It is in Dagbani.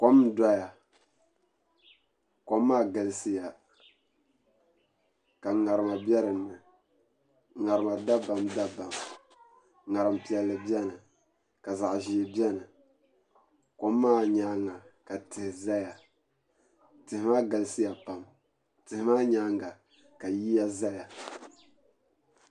Kom n doya kom maa galisiya ka ŋarima bɛ dinni ŋarima dabam dabam ŋarim piɛlli biɛni ka zaɣ ʒiɛ biɛni kom maa nyaanga ka tihi ʒɛya tihi maa galisiya pam tihi maa nyaanga ka yiya ʒɛya